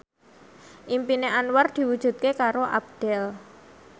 impine Anwar diwujudke karo Abdel